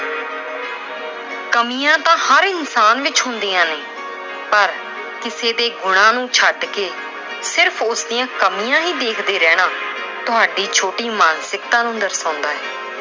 ਕਮੀਆਂ ਤਾਂ ਹਰ ਇਨਸਾਨ ਵਿੱਚ ਹੁੰਦੀਆਂ ਨੇ ਪਰ ਕਿਸੇ ਦੇ ਗੁਣਾਂ ਨੂੰ ਛੱਡ ਕੇ ਉਸ ਦੀਆਂ ਕਮੀਆਂ ਹੀ ਦੇਖਦੇ ਰਹਿਣਾ, ਤੁਹਾਡੀ ਛੋਟੀ ਮਾਨਸਿਕਤਾ ਨੂੰ ਦਰਸਾਉਂਦਾ ਹੈ।